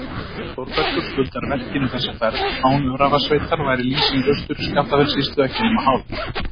Þórbergur skuldar verkinu þessa ferð, án Öræfasveitar væri lýsing Austur-Skaftafellssýslu ekki nema hálf.